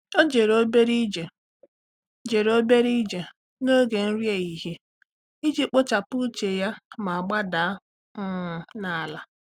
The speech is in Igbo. Ọ́ jèrè obere ije jèrè obere ije n’ógè nrí éhíhìé iji kpochapụ úchè ya ma gbádàá um n’álá.